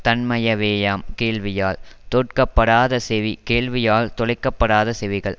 தன்மையவேயாம் கேள்வியால் தோட்கப்படாத செவி கேள்வியால் துளைக்க படாத செவிகள்